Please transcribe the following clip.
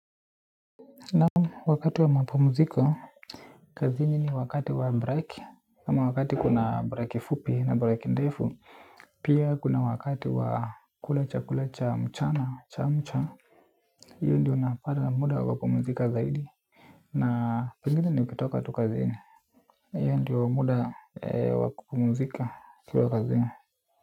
Naam wakati wa mapumziko, kazini ni wakati wa break ama wakati kuna break fupi na break ndefu. Pia kuna wakati wa kula cha mchana chamcha hiyo ndio napata muda wa kupumzika zaidi. Na pengine nikitoka tu kazini na hiyo ndio wa muda wa kupumuzika ukiwa kazini.